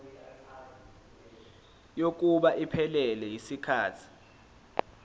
kokuba iphelele yisikhathi